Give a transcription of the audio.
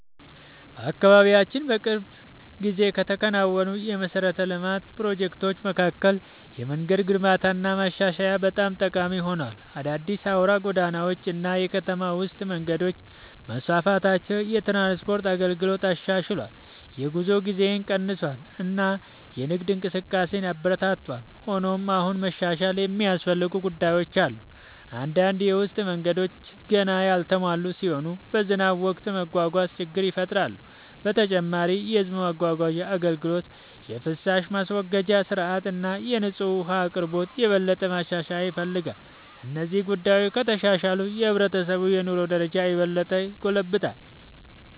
በአካባቢያችን በቅርብ ጊዜ ከተከናወኑ የመሠረተ ልማት ፕሮጀክቶች መካከል የመንገድ ግንባታና ማሻሻያ በጣም ጠቃሚ ሆኗል። አዳዲስ አውራ ጎዳናዎች እና የከተማ ውስጥ መንገዶች መስፋፋታቸው የትራንስፖርት አገልግሎትን አሻሽሏል፣ የጉዞ ጊዜን ቀንሷል እና የንግድ እንቅስቃሴን አበረታቷል። ሆኖም አሁንም መሻሻል የሚያስፈልጉ ጉዳዮች አሉ። አንዳንድ የውስጥ መንገዶች ገና ያልተሟሉ ሲሆኑ በዝናብ ወቅት ለመጓጓዝ ችግር ይፈጥራሉ። በተጨማሪም የሕዝብ ማጓጓዣ አገልግሎት፣ የፍሳሽ ማስወገጃ ሥርዓት እና የንጹህ ውኃ አቅርቦት የበለጠ መሻሻል ይፈልጋሉ። እነዚህ ጉዳዮች ከተሻሻሉ የሕብረተሰቡ የኑሮ ደረጃ የበለጠ ይጎለብታል።